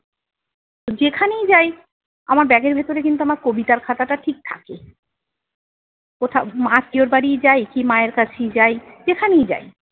যেখানেই যাই আমার ব্যাগের ভিতরে কিন্তু আমার কবিতার খাতাটা ঠিক থাকে। কোথাও আত্মীয়র বাড়িই যাই, কি মায়ের কাছেই যাই, যেখানেই যাই।